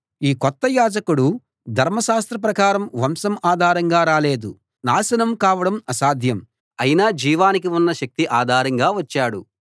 ఈ కొత్త యాజకుడు ధర్మశాస్త్రం ప్రకారం వంశం ఆధారంగా రాలేదు నాశనం కావడం అసాధ్యం అయిన జీవానికి ఉన్న శక్తి ఆధారంగా వచ్చాడు